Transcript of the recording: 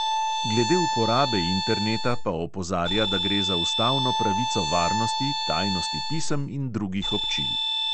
Glede uporabe interneta pa opozarja, da gre za ustavno pravico varnosti, tajnosti pisem in drugih občil.